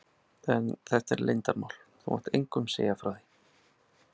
En þetta er leyndarmál, þú mátt engum segja frá því.